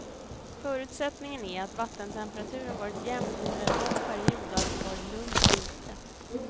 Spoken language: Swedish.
Förutsättningen är att vattentemperaturen varit jämn under en lång period och att det varit lugnt ute.